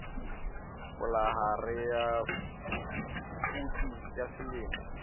palohare ya phofudi ya selemo